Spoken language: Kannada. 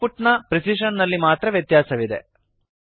ಔಟ್ ಪುಟ್ ನ ಪ್ರಿಸಿಶನ್ ನಲ್ಲಿ ಮಾತ್ರ ವ್ಯತ್ಯಾಸವಿದೆ